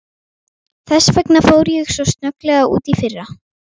Þess vegna fór ég svo snögglega út í fyrra.